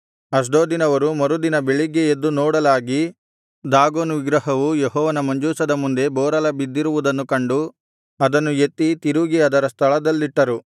ಅಷ್ಡೋದಿನವರು ಮರುದಿನ ಬೆಳಿಗ್ಗೆ ಎದ್ದು ನೋಡಲಾಗಿ ದಾಗೋನ್ ವಿಗ್ರಹವು ಯೆಹೋವನ ಮಂಜೂಷದ ಮುಂದೆ ಬೋರಲಬಿದ್ದಿರುವುದನ್ನು ಕಂಡು ಅದನ್ನು ಎತ್ತಿ ತಿರುಗಿ ಅದರ ಸ್ಥಳದಲ್ಲಿಟ್ಟರು